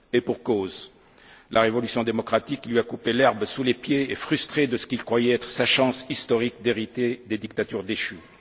Et pour cause, la révolution démocratique lui a coupé l'herbe sous le pied et l'a frustré de ce qu'il croyait être sa chance historique d'hériter des dictatures déchues.